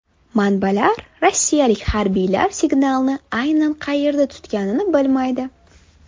Manbalar rossiyalik harbiylar signalni aynan qayerda tutganini bilmaydi.